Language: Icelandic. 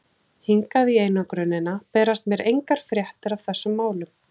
Hingað í einangrunina berast mér engar fréttir af þessum málum.